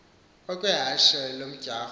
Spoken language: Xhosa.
okwe hashe lomdyarho